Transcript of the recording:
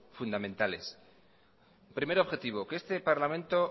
fundamentales primer objetivo que este parlamento